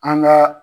An ka